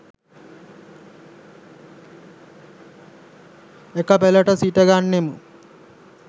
එක පෙලට සිට ගන්නෙමු.